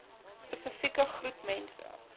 spesifieke groep mense